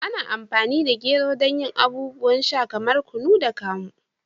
Ana amfani da gero don yin abubuwan sha kamar kunu da kamu.